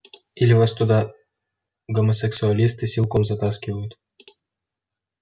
или вас туда гомосексуалисты силком затаскивают